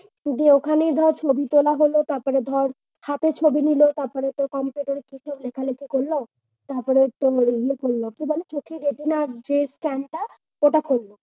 যে ওখানে ধর ছবি তোলা হল তারপরে ধর হাতের ছবি নিল তারপরে তোর computer এ কি সব লেখালেখি করল। তারপরে তোর ইয়ে করলো চোখের retina scan ওটা করলো।